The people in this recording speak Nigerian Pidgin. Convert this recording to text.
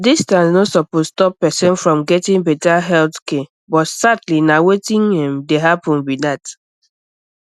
distance no suppose stop person from getting better health but sadly na wetin um dey happen be that